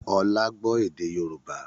Ọlá gbọ́ èdè Yorùbá